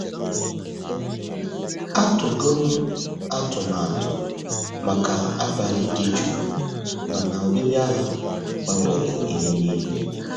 Atụgo m atụmatụ maka abalị dị jụụ, mana ọbịbịa ha gbanwere ihe niile.